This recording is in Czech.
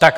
Tak.